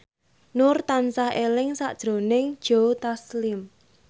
Nur tansah eling sakjroning Joe Taslim